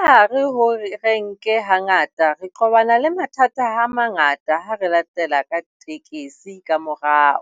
hare ho renke hangata re qobana le mathata a mangata ha re latela ka tekesi ka morao,